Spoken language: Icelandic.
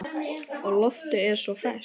Og loftið er svo ferskt.